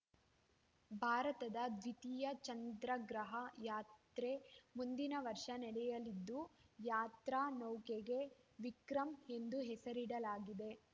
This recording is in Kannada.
ಭಾರತದ ದ್ವಿತೀಯ ಚಂದ್ರಗ್ರಹ ಯಾತ್ರೆ ಮುಂದಿನ ವರ್ಷ ನಡೆಯಲಿದ್ದು ಯಾತ್ರಾ ನೌಕೆಗೆ ವಿಕ್ರಮ್‌ ಎಂದು ಹೆಸರಿಡಲಾಗಿದೆ